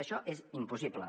això és impossible